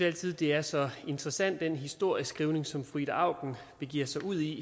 altid det er så interessant med den historieskrivning som fru ida auken begiver sig ud i